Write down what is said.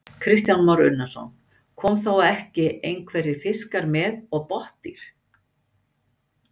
Kristján Már Unnarsson: Koma þá ekki einhverjir fiskar með og botndýr?